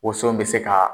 Woso bɛ se ka